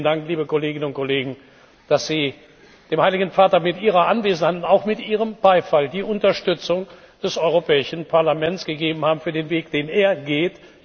Vielen Dank, liebe Kolleginnen und Kollegen, dass Sie dem Heiligen Vater mit Ihrer Anwesenheit und auch mit Ihrem Beifall die Unterstützung des Europäischen Parlaments gegeben haben für den Weg, den er geht.